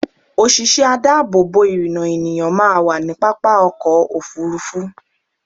Òṣìṣẹ́ adáàbò bò ìrìnnà ènìyàn máa wà ní pápá ọkọ̀ Òfurufú.